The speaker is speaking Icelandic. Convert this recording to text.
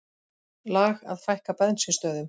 Lag að fækka bensínstöðvum